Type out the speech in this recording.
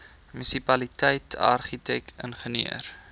munisipaliteit argitek ingenieur